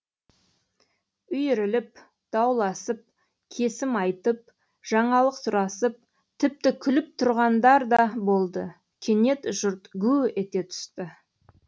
үйіріліп дауласып кесім айтып жаңалық сұрасып тіпті күліп тұрғандар да болды кенет жұрт гу ете түсті